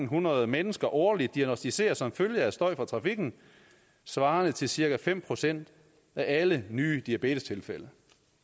hundrede mennesker årligt diagnosticeres som følge af støj fra trafikken svarende til cirka fem procent af alle nye diabetestilfælde